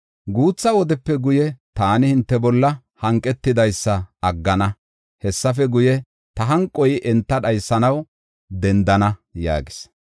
Guutha wodepe guye, taani hinte bolla hanqetidaysa aggana; hessafe guye, ta hanqoy enta dhaysanaw dendana” yaagees.